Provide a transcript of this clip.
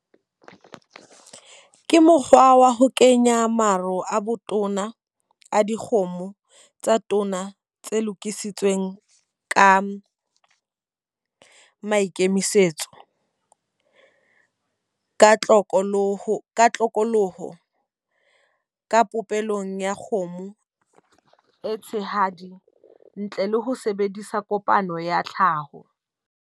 Ke mokgwa wa ho kenya maro a botona a dikgomo tsa tona tse lokisitsweng ka maikemisetso. Ka tlokoloho, tlokoloho ka popelong ya kgomo e tshehadi. Ntle le ho sebedisa kopano ya tlhaho.